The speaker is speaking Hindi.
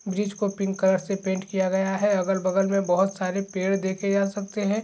ब्रिज को पिंक कलर से पेंट किया गया है अगल बगल मे बोहोत सारे पेड़ देखे जा सकते है।